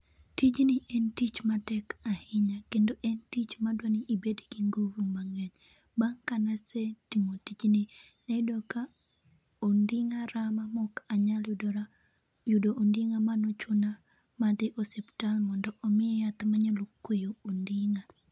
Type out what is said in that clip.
Tijni en tich matek ahinya kendo en tich madwani ibed gi nguvu mang'eny. Bang' ka na se timo tijni, nayudo ka onding'a rama mok anyal yudora yudo onding'a. Ma nochuna ma adhi osuptal mondo omiya yath ma nya kwe onding'a.